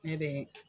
Ne be